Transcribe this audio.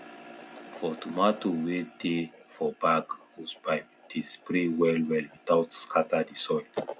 for tomato wey dey for bag hosepipe dey spray well well without scatter the soil